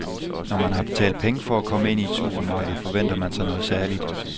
Når man har betalt penge for at komme ind i et supermarked forventer man sig noget særligt.